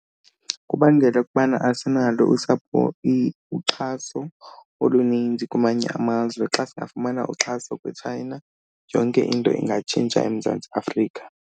Kubangela ukubana asinalo usapho uxhaso oluninzi kwamanye amazwe. Xa singafumana uxhaso kwiChina yonke into ingatshintsha eMzantsi Afrika.